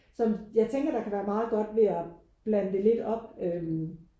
Som jeg tænker der kan være meget godt ved at blande det lidt op øh